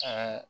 Aa